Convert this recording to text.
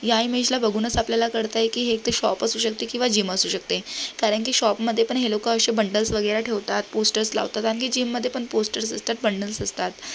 या इमेजला बघूनच आपल्याला कळतय की हे एक त शॉप असू शकते किवा जीम असू शकते कारण की शॉप मध्ये पण हे लोक अशे बंडल्स वगैरे ठेवतात पोस्टर्स लावतात आणखी जीम मध्ये पण पोस्टर्स असतात बंडल्स असतात.